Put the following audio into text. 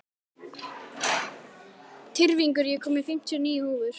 Tyrfingur, ég kom með fimmtíu og níu húfur!